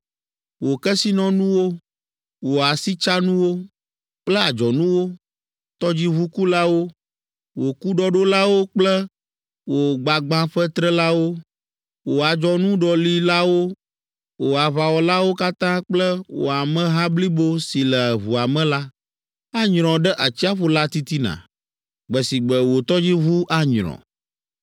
Wò kesinɔnuwo, wò asitsanuwo kple adzɔnuwo, tɔdziʋukulawo, wò kuɖɔɖolawo kple wò gbagbãƒetrelawo, wò adzɔnuɖɔlilawo, wò aʋawɔlawo katã kple wò ameha blibo si le ʋua me la, anyrɔ ɖe atsiaƒu la titina gbe si gbe wò tɔdziʋu anyrɔ.